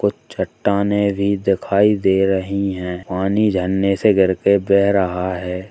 कुछ चट्टानें भी दिखाई दे रही हैं पानी झरने से गिर के बेह रहा है।